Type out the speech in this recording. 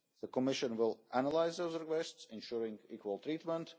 the Commission will analyse those requests, ensuring equal treatment